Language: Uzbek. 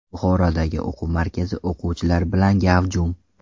Buxorodagi o‘quv markazi o‘quvchilar bilan gavjum .